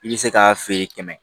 I bɛ se k'a feere kɛmɛ